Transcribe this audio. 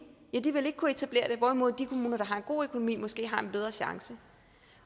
ikke vil kunne etablere det hvorimod de kommuner der har en god økonomi måske har en bedre chance